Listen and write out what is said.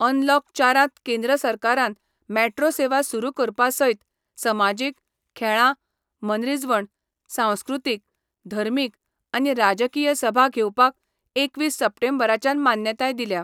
Unlock चारांत केंद्र सरकारान मेट्रो सेवा सुरु करपासयत समाजिक, खेळां, मनरीजवण, सांस्कृतिक, धर्मिक आनी राजकीय सभा घेवपाक एकवीस सप्टेंबरच्यान मान्यताय दिल्या.